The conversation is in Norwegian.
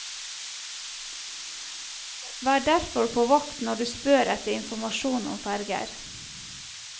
Vær derfor på vakt når du spør etter informasjon om ferger.